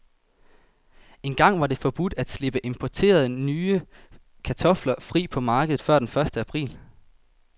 Engang var det forbudt at slippe importerede, nye kartofler fri på markedet før den første april.